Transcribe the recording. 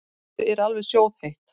Mér er alveg sjóðheitt.